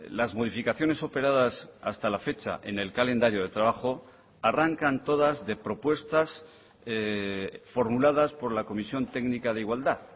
las modificaciones operadas hasta la fecha en el calendario de trabajo arrancan todas de propuestas formuladas por la comisión técnica de igualdad